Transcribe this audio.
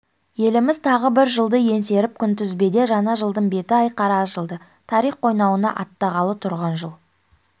еліміз тағы бір жылды еңсеріп күнтізбеде жаңа жылдың беті айқара ашылды тарих қойнауына аттанғалы тұрған жыл